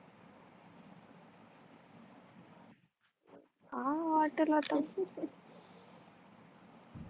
ह आह त्याला त